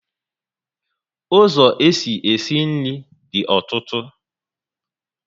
Ụzọ esi e si nri dị ọtụtụ